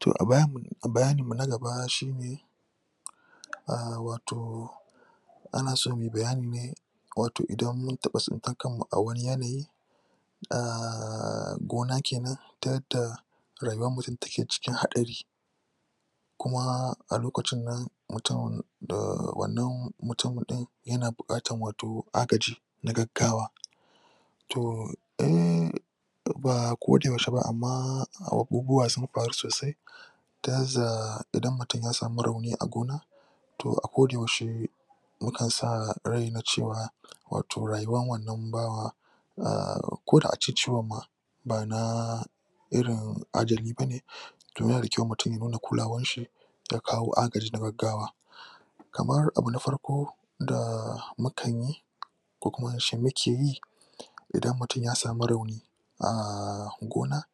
To a bayaninmu na gaba shi ne a wato ana so mu yi bayani ne wato idan mun taɓa tsintar kanmu a wani yanayi a gona kenan ta rayuwar mutum take cikin haɗari kuma a lokacin nan mutum da wannan mutum ɗin yana buƙatar wato agaji na gaggawa to eh ba kodayaushe ba amma abubuwa sun faru sosai ta za idan mutum ya samu rauni a gona to a kodayaushe mukan sa rai na cewa wato rayuwan wannan bawa na koda a ce ciwaon ma ba na irin ajali ba ne to yana da kyau mutum ya nuna kulawanshi ya kawo agaji na gaggawa. Kamar abu na farko da mukan yi ko kuma muke yi idan mutum ya samu rauni a gona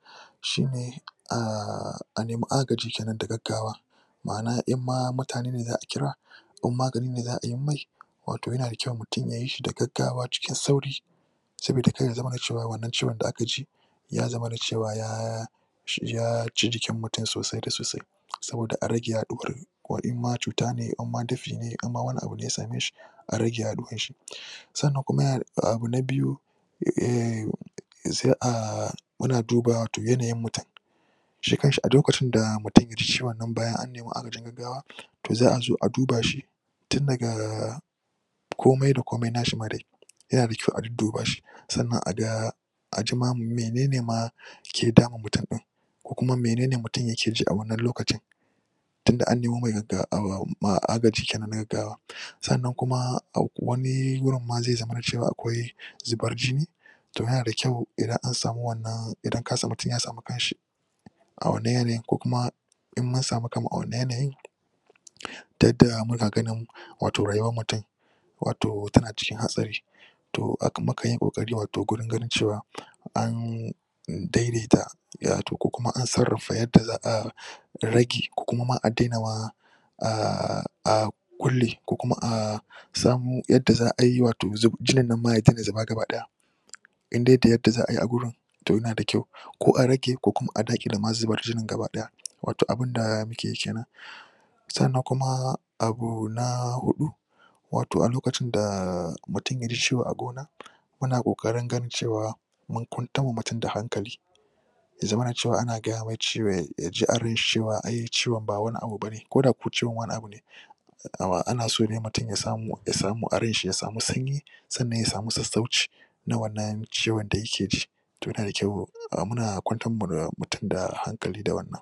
shi ne a nemi agaji na gaggawa ma'ana in ma mutane ne za a kiraa in magani ne za ayi mai wato yna da kyau ya yi shi da gaggagwa cikin sauri saboda kar ya zamana cewa wannan ciwon da aka ji ya zamana cewa ya ya ci jikin mutum sosai da sosai. saboda a rage yaɗuwar, ko in ma cuta ne in ma dafi ne in ma wani abu ne ya same shi a rage yaɗuwar shi, sannan kuma abu na biyu sai a muna duba wato yanayin mutum shi kan shi a lokacin da mutum ya ji ciwon bayan an nemi agajin gaggawa to za a zo a duba shi tun daga komai da komai na shi ma dai yana dakyau a dudduba shi sannan a ga a ji ma mene ne ma ke damun mutum ɗin ko kuma mene ne mutum ya ke ji a wannan lokacin tun da an nemi agajin gaggawa sannan kuma a wani gurin ma zai zamana akwai zubar jini to yana da kyau idan an samu wannan idan mutum ya samu kanshi a wannan yanayin ko kuma in mun samu kanmu a wannan yanayin ta yadda muna ganin wato rayuwar mutum wato tana cikin hatsari to mukanyi ƙoƙari wato wajen ganin cewa an daidaita ko kuma an sarrafa yadda za a rage ko kuma ma a daina kulle ko kuma a zamu yadda za a yi wato jinin ma ya daina zuba ga baki ɗaya. in dai da yadda za a yi a wurin to yana da kyau ko a rage ko kuma ma a daƙile ma zubar jinin gaba ɗaya wato abun da muke yi ke nan. sannan kuma abu na huɗu, wato a lokacin da mutum ya ji ciwo a gona, muna ƙoƙari wajen cewa mun kwantar wa da mutum hankali ya zamana cewa ana gaya mai ya ji a ranshi ciwon ba wani abu bane, ko da kuwa wani abun ne. ana so ne mutum ya samu ya samu aranshi ya samu sanyi sannan ya samu sassauci na wannan ciwon da yake ji. to yana da kyau muna kwantarwa da mutum da hankali da wannan.